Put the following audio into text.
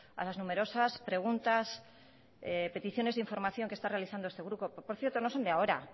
a las numerosas preguntas peticiones de información que está realizando este grupo que por cierto no son de ahora